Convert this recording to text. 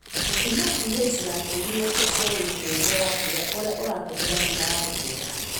gũthimaPH ya tĩri na indo cia wĩitĩrĩria wa mbura ũrĩa ũratũmĩra hinya wa riũa.